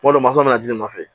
Kuma dɔ mansɔ bɛ najini nɔfɛ